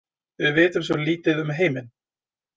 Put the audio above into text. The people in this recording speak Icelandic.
Við vitum svo lítið um heiminn.